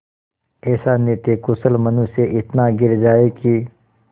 ऐसा नीतिकुशल मनुष्य इतना गिर जाए कि